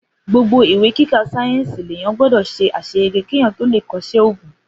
Gbogbo ìwé kíkà sàyẹnsi lẹyàn gbọdọ ṣe àseyege keyan tọ lẹ kọsẹ ògún.